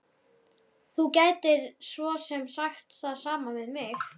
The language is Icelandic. Þú gætir svo sem sagt það sama við mig.